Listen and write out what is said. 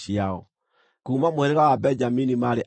Kuuma mũhĩrĩga wa Benjamini maarĩ andũ 35,400.